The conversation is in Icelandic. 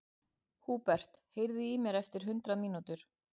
Húbert, heyrðu í mér eftir hundrað mínútur.